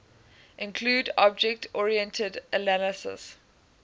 include object oriented analysis